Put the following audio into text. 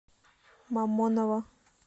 мамоново